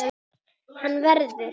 Hann verður.